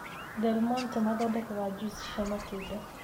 Delmonte mathondeka juici cia matunda.